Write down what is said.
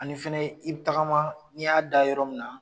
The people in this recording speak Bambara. Ani fɛnɛ ye, i bi tagama n'i y'a da yɔrɔ min na.